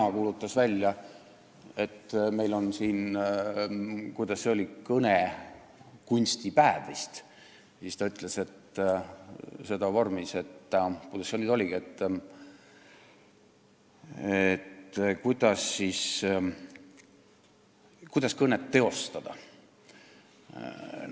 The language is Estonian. – kuulutas välja, et meil on kõnekunstipäev, siis kasutati formuleeringut, kuidas see nüüd oligi, et "kuidas siis kõnet teostada".